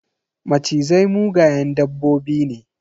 Macizai mugayen dabbobi ne.